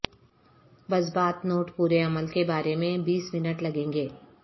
بس بات نوٹ پورے عمل کے بارے میں بیس منٹ لگیں گے